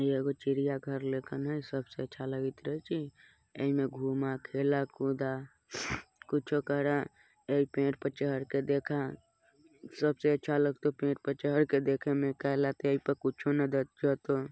ई एगो चिड़ियाघर लेखन है सबसे अच्छा लगत रहे छे ए में घूमा खेला कूदा कूछो करअ ई पेड़ पे चढ़ के देखा सबसे अच्छा लगतो पेड़ पे चढ़ के देखे में कुछु --